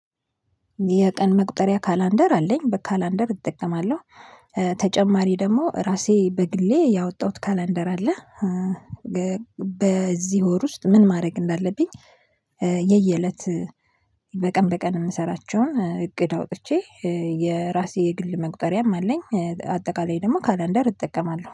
የቀን መቁጠሪያ ካላንደር አለኝ በካላንደር እጠቀማለሁ። ተጨማሪ ደግሞ እራሴ በግሌ ያወጣሁት ካላንደር አለ። በዚህ ወር ውስጥ ምን ማድረግ እንዳለብኝ። የየእለት በቀን በቀን የምሰራቸውን እቅድ አውጥቼ። የራሴ የግል መቁጠሪያም አለኝ አጠቃላይ ደግሞ ካላንደር እጠቀማለሁ